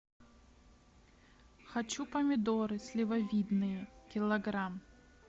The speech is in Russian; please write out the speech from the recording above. хочу помидоры сливовидные килограмм